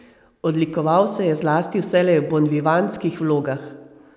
Odlikoval se je zlasti vselej v bonvivantskih vlogah.